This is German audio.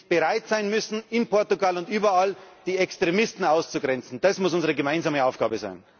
Nämlich, dass wir bereit sein müssen, in Portugal und überall, die Extremisten auszugrenzen. Das muss unsere gemeinsame Aufgabe sein.